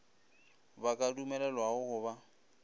ba ka dumelelwago go ba